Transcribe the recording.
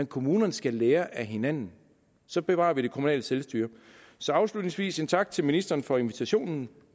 kommunerne skal lære af hinanden så bevarer vi det kommunale selvstyre så afslutningsvis sige tak til ministeren for invitationen